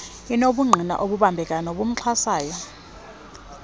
enobungqina obubambekayo nobuxhasayo